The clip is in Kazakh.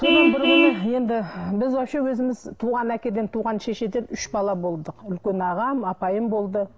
содан бір күні енді біз вообще өзіміз туған әкеден туған шешеден үш бала болдық үлкен ағам апайым болды